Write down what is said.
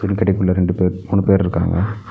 கடைக்குள்ள ரெண்டு பேரு மூணு பேர் இருக்காங்க.